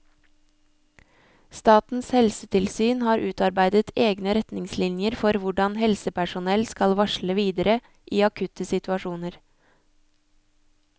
Statens helsetilsyn har utarbeidet egne retningslinjer for hvordanhelsepersonell skal varsle videre i akutte situasjoner.